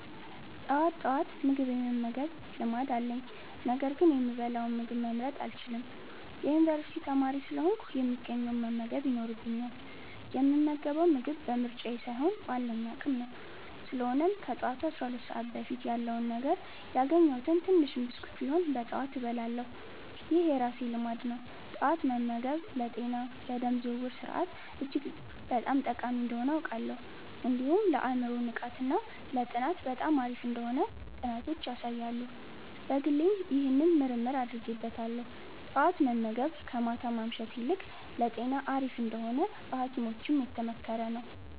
ጠዋት ጠዋት ምግብ የመመገብ ልማድ አለኝ፤ ነገር ግን የምበላውን ምግብ መምረጥ አልችልም። የዩኒቨርሲቲ ተማሪ ስለሆንኩ፣ የሚገኘውን መመገብ ይኖርብኛል፣ የምመገበው ምግብ በምርጫዬ ሳይሆን ባለኝ አቅም ነው። ስለሆነም ከጠዋቱ 12 ሰዓት በፊት ያለውን ነገር፣ ያገኘሁትን ትንሽም ብስኩት ቢሆንም በጠዋት እበላለሁ። ይህ የራሴ ልማድ ነው። ጠዋት መመገብ ለጤና፣ ለደም ዝውውር ስርዓት እጅግ በጣም ጠቃሚ እንደሆነ አውቃለሁ። እንዲሁም ለአእምሮ ንቃት እና ለጥናት በጣም አሪፍ እንደሆነ ጥናቶች ያሳያሉ። በግሌም ይህንን ምርምር አድርጌበታለሁ። ጠዋት መመገብ ከማታ ማምሸት ይልቅ ለጤና አሪፍ እንደሆነ በሀኪሞችም የተመከረ ነው።